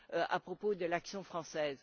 à propos de l'action française.